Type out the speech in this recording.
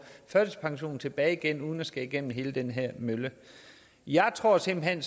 førtidspensionen tilbage igen uden at skulle igennem hele den her mølle jeg tror simpelt hen